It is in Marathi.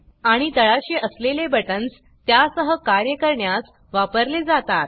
आणि तळाशी असलेले बटन्स त्या सह कार्य करण्यास वापरले जातात